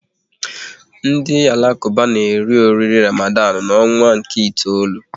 Ndị Alakuba na eri oriri Ramadan n'ọnwa nke itoolu